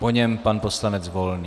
Po něm pan poslanec Volný.